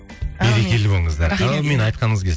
әумин берекелі болыңыздар әумин айтқаныңыз келсін